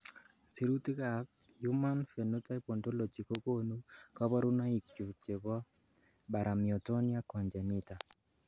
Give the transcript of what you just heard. Sirutikab Human Phenotype Ontology kokonu koborunoikchu chebo Paramyotonia congenita.